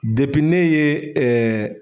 ne ye